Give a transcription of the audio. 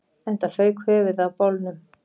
Enda fauk höfuðið af bolnum